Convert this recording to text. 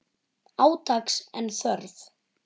Átaks er þörf.